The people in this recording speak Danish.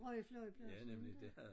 Rø flyveplads inte